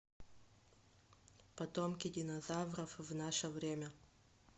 потомки динозавров в наше время